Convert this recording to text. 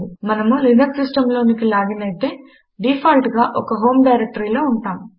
మనము లినక్స్ సిస్టంలోనికి లాగిన్ అయితే డీఫాల్ట్ గా ఒక హోం డైరెక్టరీలో ఉంటాము